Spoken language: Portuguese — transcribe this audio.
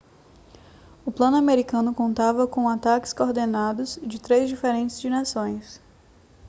o plano americano contava com ataques coordenados de três diferentes direções